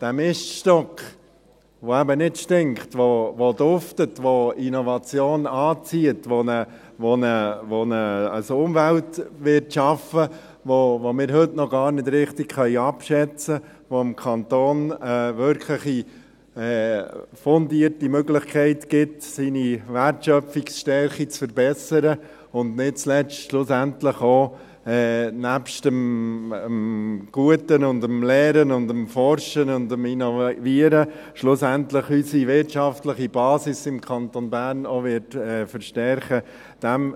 Dieser Miststock, welcher eben nicht stinkt, der duftet, der Innovation anzieht, der eine Umwelt schaffen wird, welche wir heute noch gar nicht richtig abschätzen können, welche dem Kanton wirklich eine fundierte Möglichkeit geben wird, seine Wertschöpfungsstärke zu verbessern, und nicht zuletzt, schlussendlich auch, neben dem Guten, dem Lehren und dem Forschen und dem Innovieren, schlussendlich unsere wirtschaftliche Basis im Kanton Bern verstärken wird.